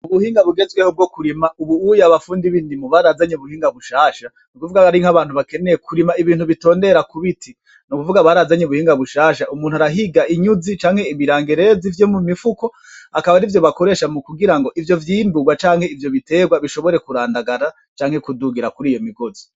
Ubuhinga bugezweho bwo kurima ubu uya abafundi b'indimo barazanye ubuhinga bushasha n'ukuvuga hari nk'abantu bakeneye kurima ibintu bitondera ku biti , n'ukuvuga barazanye ubuhinga bushasha umuntu arahiga inyuzi canke ibirangereze vyo mu mifuko akab'arivyo bakoresha mu kugira ngo ivyo vyimburwa canke ivyo biterwa bishobore kurandagara canke kudugira kur'iyo migozi.